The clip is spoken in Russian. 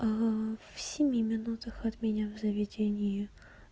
в семь минутах от меня в заведении